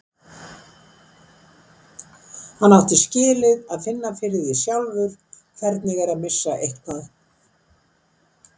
Hann átti skilið að finna fyrir því sjálfur hvernig er að missa eitthvað.